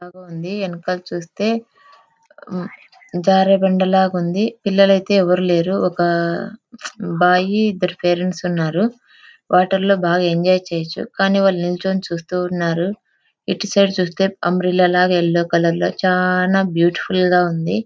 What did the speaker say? నాకు ముందువెనకాల చూస్తే జారు బండలా ఉంది. పిల్లలు అయితే ఎవరు లేరు. ఒక బాయ్ ఇద్దరు పేరెంట్స్ ఉన్నారు. వాటర్ లో బాగా ఎంజాయ్ చేయొచ్చు. కానీ వెళ్లి నించొని చూస్తూ ఉన్నారు. ఇటువైపు చూస్తే అంబ్రెల్లా లా యెల్లో కలర్ లో చానా బ్యూటిఫుల్ గా ఉంది.